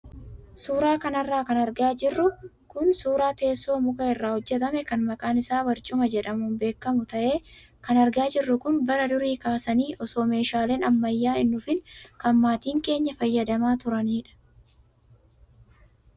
Suuraa kanarra kan argaa jirru kun suuraa teessoo muka irraa hojjatame kan maqaan isaa barcuma jedhamuun beekamu ta'ee, kan argaa jirru kun bara durii kaasanii osoo meeshaaleen ammayyaa hin dhufiin kan maatiin keenya fayyadamaa turanidha.